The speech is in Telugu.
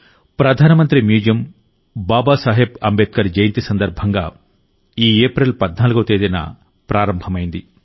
ప్రధానమంత్రి మ్యూజియం బాబాసాహెబ్ అంబేద్కర్ జయంతి సందర్భంగా ఈ ఏప్రిల్ 14వ తేదీన ప్రారంభమైంది